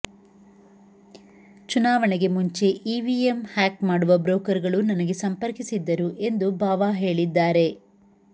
ಚುನಾವಣೆಗೆ ಮುಂಚೆ EVM hack ಮಾಡುವ ಬ್ರೋಕರ್ಗಳು ನನಗೆ ಸಂಪರ್ಕಿಸಿದ್ದರು ಎಂದು ಬಾವಾ ಹೇಳಿದ್ದಾರೆ